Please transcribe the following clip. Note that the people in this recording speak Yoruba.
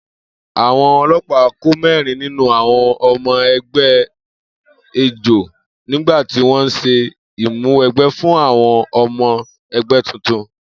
Àwo̩n o̩ló̩pàá kó mé̩rin nínú àwo̩n o̩mo̩ e̩gbé̩ ejò nígbà tí wó̩n ń s̩e ìmúwe̩gbé̩ fún àwo̩n o̩mo̩ e̩gbè̩ tuntun